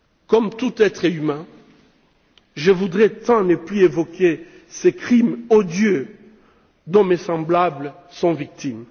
Comme tout être humain, je voudrais tant ne plus évoquer ces crimes odieux dont mes semblables sont victimes.